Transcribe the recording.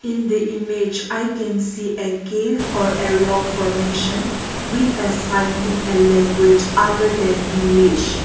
in the image i can see a cave or a rock formation with a sign in a language other than english.